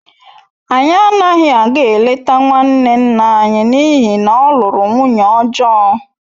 Anyị anaghị aga eleta nwanne nna anyị n’ihi na ọ lụrụ nwunye ọjọọ